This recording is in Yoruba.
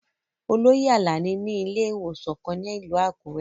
Oloye Alani ni ile-iwosan kan ni ilu Akure